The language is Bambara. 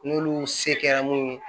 N'olu se kɛra mun ye